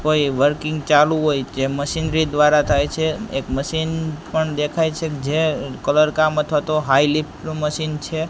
કોઈ વર્કિંગ ચાલુ હોય જે મશીનરી દ્વારા થાય છે એક મશીન પણ દેખાય છે જે કલર કામ અથવાતો હાઈ લિફ્ટ નું મશીન છે.